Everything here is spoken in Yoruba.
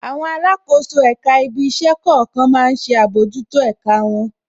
Àwọn alákòóso èka ibí iṣẹ́ kọ̀ọ̀kan má ń ṣe àbójútó ẹ̀ka wọn.